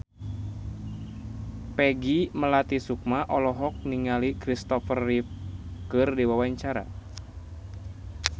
Peggy Melati Sukma olohok ningali Christopher Reeve keur diwawancara